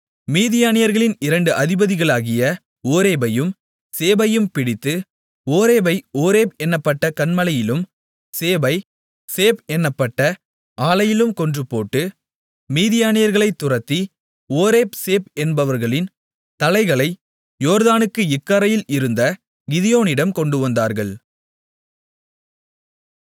மீதியானியர்களின் இரண்டு அதிபதிகளாகிய ஓரேபையும் சேபையும் பிடித்து ஓரேபை ஓரேப் என்னப்பட்ட கன்மலையிலும் சேபை சேப் என்னப்பட்ட ஆலையிலும் கொன்றுபோட்டு மீதியானியர்களை துரத்தி ஓரேப் சேப் என்பவர்களின் தலைகளை யோர்தானுக்கு இக்கரையிலிருந்த கிதியோனிடம் கொண்டுவந்தார்கள்